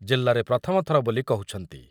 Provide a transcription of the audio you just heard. ଜିଲ୍ଲାରେ ପ୍ରଥମ ଥର ବୋଲି କହୁଛନ୍ତି ।